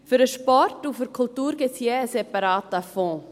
Für den Sport und die Kultur gibt es je einen separaten Fonds.